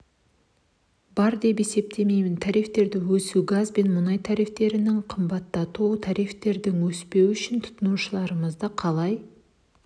бар деп есептемеймін тарифтердің өсуі газ бен мұнай тарифтерінің қымбататуы тарифтердің өспеуі үшін тұтынушыларымызды қалай